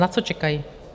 Na co čekají?